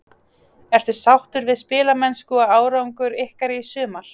Ertu sáttur við spilamennsku og árangur ykkar í sumar?